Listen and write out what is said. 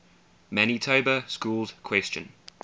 manitoba schools question